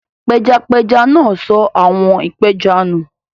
Pẹjapẹja náà sọ àwọ̀n ìpẹja nù.